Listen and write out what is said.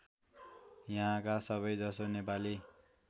यहाँका सबैजसो नेपाली